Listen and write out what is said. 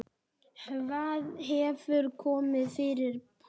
Hvað hefur komið fyrir Palla?